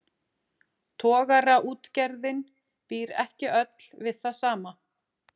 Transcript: Togaraútgerðin býr ekki öll við það sama.